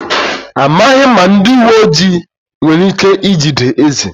Amaghị m ma ndị uwe ojii nwere ike ijide eze.